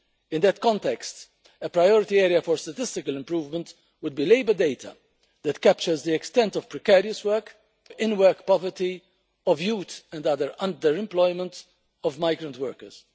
In that context, a priority area for statistical improvement would be labour data that captures the extent of precarious work, in work poverty, youth and other under employment of migrant workers.